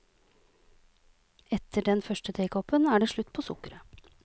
Etter den første tekoppen er det slutt på sukkeret.